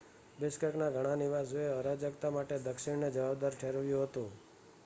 બિશ્કેકનાં ઘણા નિવાસીઓએ અરાજકતા માટે દક્ષિણને જવાબદાર ઠેરવ્યું હતું